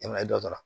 E ma e dɔ sara